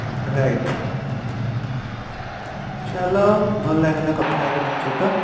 right ଚାଲ ଭଲ ଲାଗିଲା କଥା ହେଇକି ତମ ସହିତ